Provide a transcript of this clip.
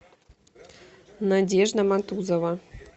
надежда матузова